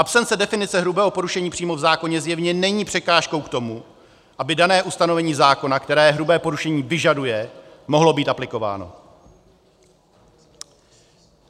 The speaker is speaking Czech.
Absence definice hrubého porušení přímo v zákoně zjevně není překážkou k tomu, aby dané ustanovení zákona, které hrubé porušení vyžaduje, mohlo být aplikováno.